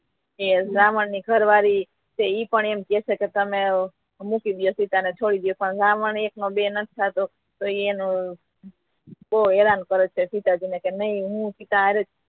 એ રાવણ ની ઘર વાળી તે પણ એમ કહે છે કે તમે મૂકી દિયો સીતા ને છોડી દો પણ રાવણ એક નો બે નથી થતો તો એ નો બહુ હેરાન કરે છે સીતાજી ને નહી હું સીતા હારેજ